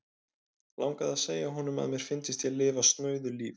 Langaði að segja honum, að mér fyndist ég lifa snauðu lífi.